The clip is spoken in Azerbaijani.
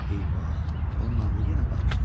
Eyvah, onun ağlı yenə qarışdı.